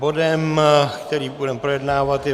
Bodem, který budeme projednávat, je